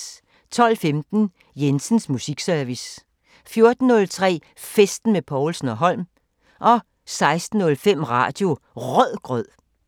12:15: Jensens Musikservice 14:03: Festen med Povlsen & Holm 16:05: Radio Rødgrød